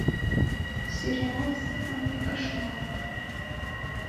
сериал с анной кошмал